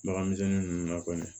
Bagan misɛnnin nunnu na kɔni